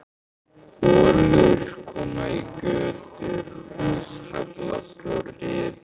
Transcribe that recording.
Holur koma í götur, hús hallast og riða.